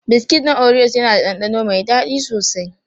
Biskit na oriyos yana da ɗanɗano mai daɗi sosai.